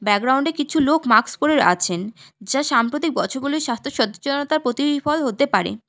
Background -এ কিছু লোক মাক্স পরে আছেন যা সাম্প্রতিক বছর গুলির স্বাস্থ্য সচেচনতার প্রতিরিফল হতে পারে।